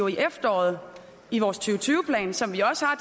i efteråret i vores to tyve plan som vi også har